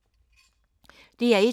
DR1